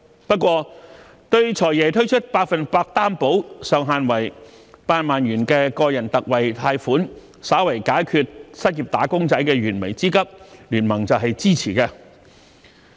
不過，對"財爺"推出百分百擔保、上限為8萬元的個人特惠貸款，稍為解決失業"打工仔"的燃眉之急，經民聯是支持的。